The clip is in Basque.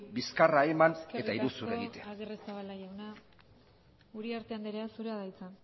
bizkarra eman eta iruzur egitea eskerrik asko agirrezabala jauna uriarte andrea zurea da hitza